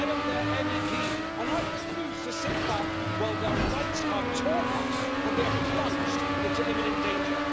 I am their MEP and I refuse to sit back while their rights are torn up and they are plunged into imminent danger.